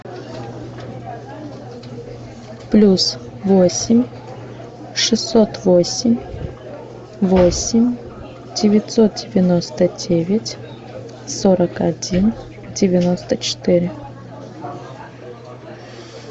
плюс восемь шестьсот восемь восемь девятьсот девяносто девять сорок один девяносто четыре